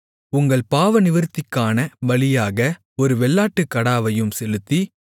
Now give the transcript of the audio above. உங்கள் பாவநிவிர்த்திக்கான பலியாக ஒரு வெள்ளாட்டுக்கடாவையும் செலுத்தி